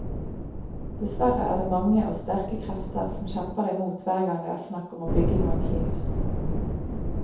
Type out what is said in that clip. Dessverre er det mange og sterke krefter som kjemper imot hver gang det er snakk om å bygge noen nye hus.